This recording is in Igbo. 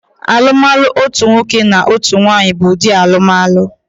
Alụmalụ otu nwoke na otu nwaanyị bụ ụdị alụmalụ